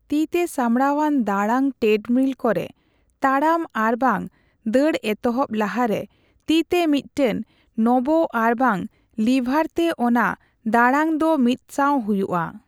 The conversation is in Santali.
ᱛᱤᱛᱮ ᱥᱟᱢᱵᱲᱟᱣᱟᱱ ᱫᱟᱲᱟᱝ ᱴᱨᱮᱰᱢᱤᱞ ᱠᱚᱨᱮ ᱛᱟᱲᱟᱢ ᱟᱨᱵᱟᱝ ᱫᱟᱹᱲ ᱮᱛᱚᱦᱚᱯ ᱞᱟᱦᱟᱨᱮ ᱛᱤᱛᱮ ᱢᱤᱫᱴᱟᱝ ᱱᱚᱵᱽ ᱟᱨᱵᱟᱝ ᱞᱤᱵᱷᱟᱨᱛᱮ ᱚᱱᱟ ᱫᱟᱸᱲᱟᱝ ᱫᱚ ᱢᱤᱛᱥᱟᱸᱣ ᱦᱩᱭᱩᱜᱼᱟ ᱾